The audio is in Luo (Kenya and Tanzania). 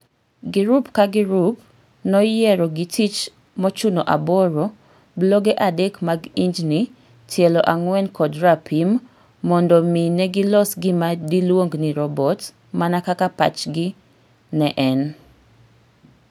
Girup ka girup noyiero gitich mochuno aboro, buloge adek mag injni, tielo ang'wen kod rapimmondo mi negilos gima diluong ni robot. mana kaka pachgi ne en.